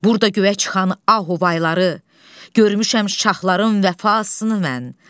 Burda göyə çıxan ahuvayları, görmüşəm şahların vəfasını mən.